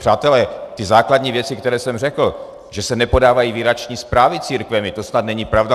Přátelé, ty základní věci, které jsem řekl, že se nepodávají výroční zprávy církvemi, to snad není pravda?